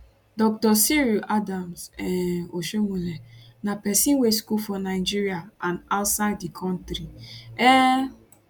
dr cyril adams um oshiomhole na pesin wey school for nigeria and outside di kontri um